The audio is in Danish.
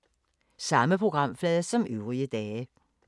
Samme programflade som øvrige dage